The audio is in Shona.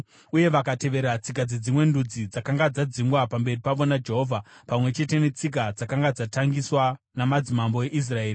uye vakatevera tsika dzedzimwe ndudzi dzakanga dzadzingwa pamberi pavo naJehovha, pamwe chete netsika dzakanga dzatangiswa namadzimambo eIsraeri.